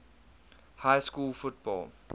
high school football